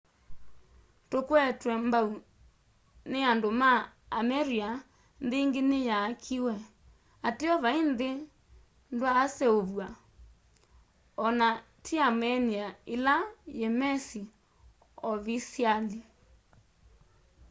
tukwetwe mbau ni andu ma armeria nthi ingi niyaakiwe ateo vai nthi ndyaaseuvw'a o na ti armenia ila yimesi ovisiali